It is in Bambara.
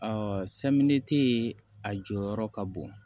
a jɔyɔrɔ ka bon